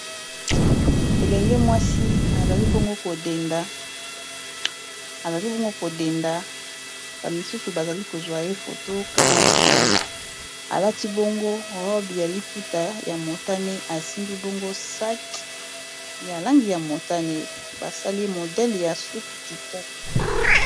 elenge mwasi azali bongo kodenda bamisusu bazali kozwa efoto kama video alati bongo rob ya liputa ya motane asimbi bongo sake ya langi ya motane basali modele ya soki kitoko